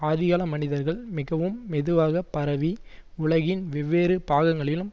ஆதிகால மனிதர்கள் மிகவும் மெதுவாக பரவி உலகின் வெவ்வேறு பாகங்களிலும்